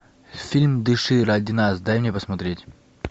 фильм дыши ради нас дай мне посмотреть